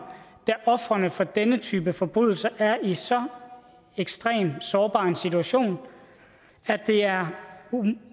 da ofrene for denne type forbrydelser er i så ekstremt sårbar en situation at det er